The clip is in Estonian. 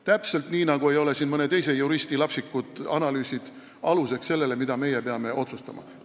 Täpselt nii, nagu ei ole siin mõne juristi lapsikud analüüsid aluseks sellele, mida meie peame otsustama.